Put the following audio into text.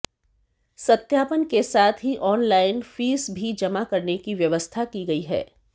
सत्यापन के साथ ही ऑनलाइन फीस भी जमा करने की व्यवस्था की गई है